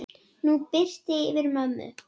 Nú birtir yfir mömmu.